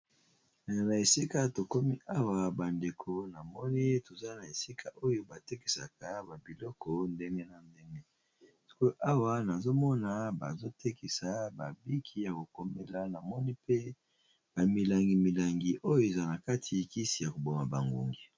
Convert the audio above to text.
Na esika tokomi, awa bandeko namoni na esika oyo batekisaka, ba biloko ya ndenge na ndenge ,Namoni colle Oyo Bana basalisaka na kelasi na pembeni ba ekomeli.